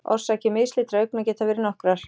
Orsakir mislitra augna geta verið nokkrar.